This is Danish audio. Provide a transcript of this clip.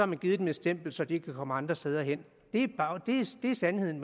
man givet dem et stempel så de ikke kan komme ind andre steder det er sandheden